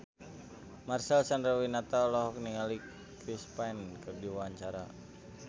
Marcel Chandrawinata olohok ningali Chris Pane keur diwawancara